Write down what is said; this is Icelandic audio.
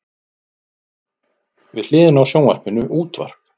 Við hliðina á sjónvarpinu útvarp.